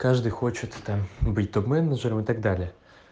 каждый хочет там быть топ-менеджером и так далее